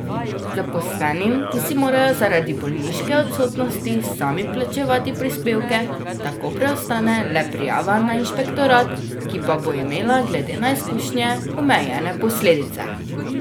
Zaposlenim, ki si morajo zaradi bolniške odsotnosti sami plačevati prispevke, tako preostane le prijava na inšpektorat, ki pa bo imela, glede na izkušnje, omejene posledice.